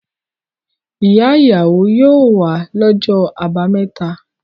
Ìyá-ìyàwó yóò wá lọ́jọ́ àbámẹ́ta.